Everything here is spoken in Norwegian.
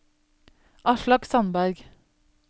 Aslak Sandberg